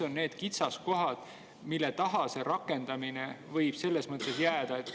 Mis on kitsaskohad, mille taha see rakendamine võib jääda?